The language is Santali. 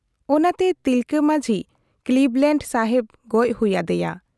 ᱚᱱᱟᱛᱮ ᱛᱤᱞᱠᱟᱹ ᱢᱟᱹᱡᱷᱤ ᱠᱞᱤᱵᱽᱞᱮᱸᱰ ᱥᱟᱦᱮᱵᱽ ᱜᱚᱡ ᱦᱩᱭ ᱟᱫᱮᱭᱟ ᱾